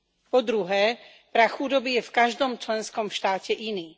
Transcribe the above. Po druhé, prah chudoby je v každom členskom štáte iný.